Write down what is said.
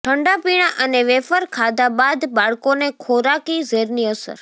ઠંડા પીણા અને વેફર ખાધા બાદ બાળકોને ખોરાકી ઝેરની અસર